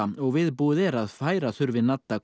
og viðbúið er að færa þurfi